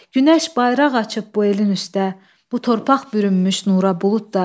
Günəş bayraq açıb bu elin üstdə, bu torpaq bürünmüş nura buludlar.